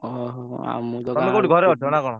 ଓହୋ ଆଉ ମୁଁ ତ ଗାଁକୁ ତମେ କୋଉଠି ଘରେ ଅଛ ନା କଣ?